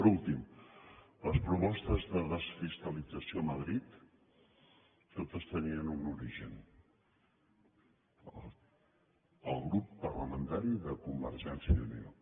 per últim les propostes de desfiscalització a madrid totes tenien un origen el grup parlamentari de convergència i unió